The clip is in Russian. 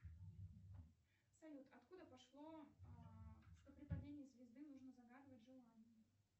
салют откуда пошло что при падении звезды нужно загадывать желание